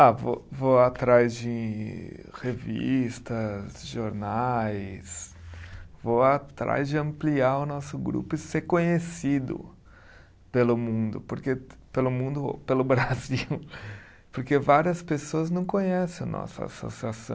Ah, vou vou atrás de revistas, jornais, vou atrás de ampliar o nosso grupo e ser conhecido pelo mundo, porque, pelo mundo pelo Brasil, porque várias pessoas não conhecem a nossa associação.